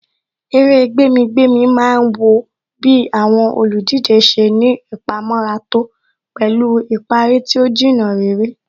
Eré gbẹ̀mí-gbẹ̀mí má ń wọ bí àwọn olùdíje ṣe ní ìpamọ́ra tó pẹ̀lú ìparí tí ó Jìnnà réré